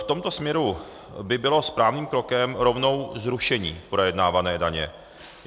V tomto směru by bylo správným krokem rovnou zrušení projednávané daně.